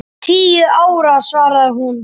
Tíu ára, svaraði hún.